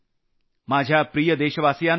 माझ्या प्रिय देशवासियांनो